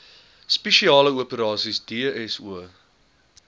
spesiale operasies dso